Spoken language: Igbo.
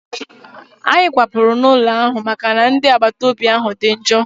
Anyị kwapụrụ n'ụlọ ahụ maka na ndị agbataobi ahụ dị njọ